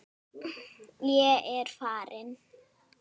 Ég er farinn